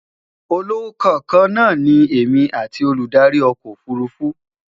ọlọkàn kaana ní èmi atti Olùdarí ọkọ òfurufú